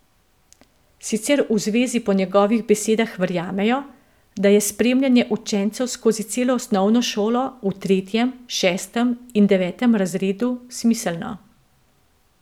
Sicer v zvezi po njegovih besedah verjamejo, da je spremljanje učencev skozi celo osnovno šolo v tretjem, šestem in devetem razredu smiselno.